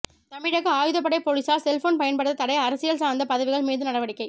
தமிழக ஆயுதப்படை போலீசார் செல்போன் பயன்படுத்த தடை அரசியல் சார்ந்த பதிவுகள் மீது நடவடிக்கை